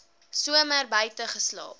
somer buite geslaap